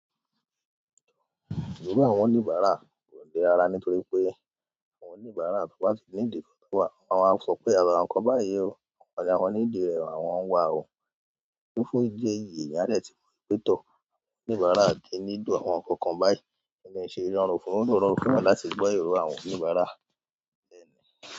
Gbogbo àwọn oníbàárà kò le ara nítorí pé àwọn oníbàárà tó wá ti ní ìdí ọ̀tọ̀wọ̀. Wón a sọ pé, àwọn nkan báyìí o, àwọn need rẹ̀, àwọn wa o. Fúnfún ìdí èyí, èèyàn á dẹ̀ ti mọ pé tọ̀, àwọn oníbàárà di nídùn àwọn ọkọ kan báyìí, tí ó ń ṣe ìránlọ́wọ́ fún òórùn ọkọ láti gbọ́ èrò àwọn oníbàárà lẹ́nu.